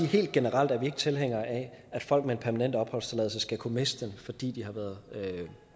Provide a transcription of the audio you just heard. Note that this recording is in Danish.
helt generelt er vi ikke tilhængere af at folk med en permanent opholdstilladelse skal kunne miste den fordi de har været